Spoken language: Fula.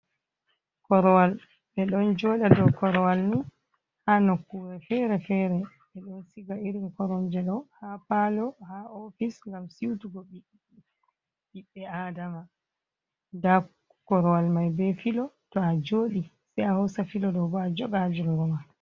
Korowal be don joda do korowal ni ha nokkure fere-fere ɓeɗon siga irin koromjeɗo ha palo, ha ofis gam siutugo ɓiɓbe adama. Nda korowal mai be filo to a jodi sei a hosa filo ɗo bo a joga jungo ma.